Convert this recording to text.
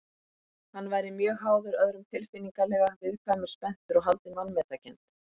Hann væri mjög háður öðrum tilfinningalega, viðkvæmur, spenntur og haldinn vanmetakennd.